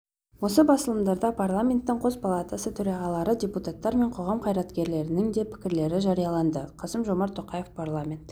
осы басылымдарда парламенттің қос палатасы төрағалары депутаттар мен қоғам қайраткерлерінің де пікірлері жарияланды қасым-жомарт тоқаев парламент